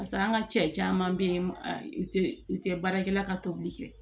Pase an ka cɛ caman bɛ yen u tɛ baarakɛla ka tobili kɛ